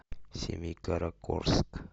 семикаракорск